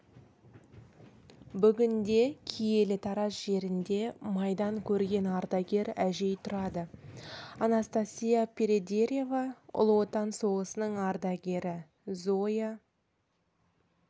бүгінде киелі тараз жерінде майдан көрген ардагер әжей тұрады анастасия передереева ұлы отан соғысының ардагері зоя